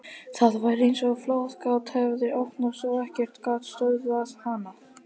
Það var eins og flóðgátt hefði opnast og ekkert gat stöðvað hana.